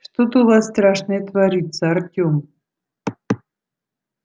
что-то у вас страшное творится артём